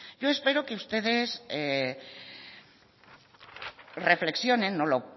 yo espero que ustedes reflexionen no lo